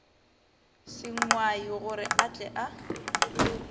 sengwai gore a tle a